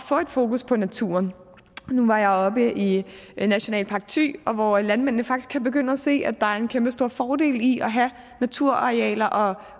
få et fokus på naturen nu var jeg oppe i nationalpark thy hvor landmændene faktisk kan begynde at se at der er en kæmpestor fordel i at have naturarealer og